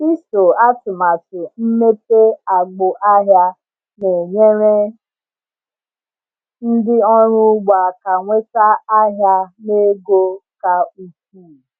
Iso atụmatụ mmepe agbụ ahịa na-enyere ndị ọrụ ugbo aka nweta ahịa na ego ka ukwuu.